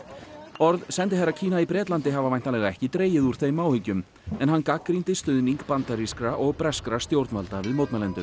orð sendiherra Kína í Bretlandi hafa væntanlega ekki dregið úr þeim áhyggjum en hann gagnrýndi stuðning bandarískra og breskra stjórnvalda við mótmælendur